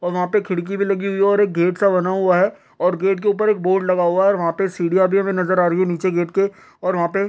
और वहां पे खिड़की भी लगी हुई है और एक गेट सा बना हुआ है और गेट के ऊपर एक बोर्ड लगा हुआ है और वहां पे सीढ़ियां भी हमें नज़र आ रही है नीचे गेट के और वहां पे --